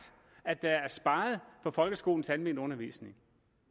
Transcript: at der er sparet på folkeskolens almenundervisning